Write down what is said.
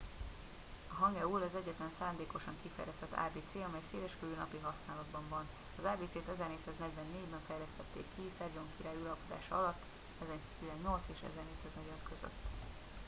a hangeul az egyetlen szándékosan kifejlesztett ábécé amely széleskörű napi használatban van. az ábécét 1444-ben fejlesztették ki szedzsong király uralkodása alatt 1418-1450